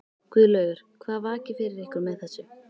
Guðlaugur, hvað vakir fyrir ykkur með þessu?